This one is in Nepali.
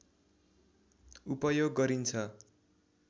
उपयोग गरिन्छ